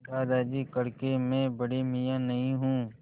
दादाजी कड़के मैं बड़े मियाँ नहीं हूँ